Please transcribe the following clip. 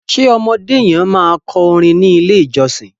ṣe ọmọdé yen ma kọ orin ní ilè ìjósìn?